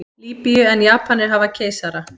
Lýbíu en Japanir hafa keisara.